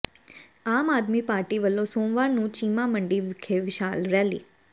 ਆਮ Aadmi Party ਵੱਲੋਂ ਸੋਮਵਾਰ ਨੂੰ ਚੀਮਾ ਮੰਡੀ ਵਿਖੇ ਵਿਸ਼ਾਲ ਰੈਲੀ